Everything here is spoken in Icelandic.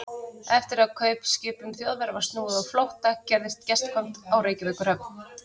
Eftir að kaupskipum Þjóðverja var snúið á flótta, gerðist gestkvæmt á Reykjavíkurhöfn.